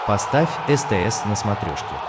поставь стс на смотрешке